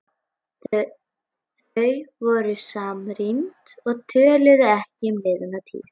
Þau voru samrýnd og töluðu ekki um liðna tíð.